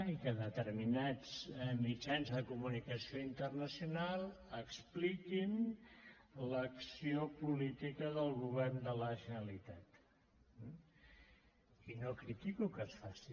i que determinats mitjans de comunicació internacional expliquin l’acció política del govern de la generalitat i no critico que es faci